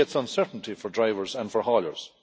This creates uncertainty for drivers and for hauliers.